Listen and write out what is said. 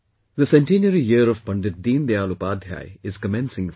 The centenary year of Pandit Deen Dayal Upadhyay is commencing from today